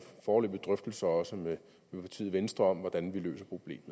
foreløbige drøftelser også med partiet venstre om hvordan vi løser problemet